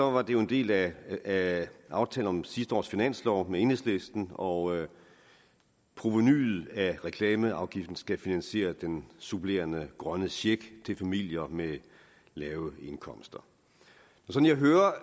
var det jo en del af af aftalen om sidste års finanslov med enhedslisten og provenuet af reklameafgiften skal finansiere den supplerende grønne check til familier med lave indkomster som jeg hører